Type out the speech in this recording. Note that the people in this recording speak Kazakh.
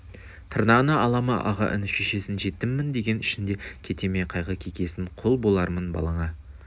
тырнағына ала ма аға іні шешесін жетіммін деген ішінде кете ме қайғы кекесін құл болармын балаңа